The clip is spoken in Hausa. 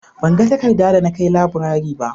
Ban ga takarda da na kai laburare ba